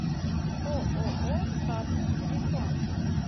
ооо статус телефон